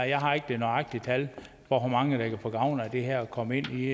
jeg har ikke det nøjagtige tal for hvor mange der kan få gavn af det her og komme ind i